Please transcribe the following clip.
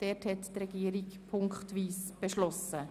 Die Regierung hat diesbezüglich ziffernweise beschlossen.